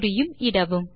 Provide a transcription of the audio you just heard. குறியும் இடவும்